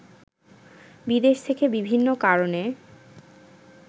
বিদেশ থেকে বিভিন্ন কারনে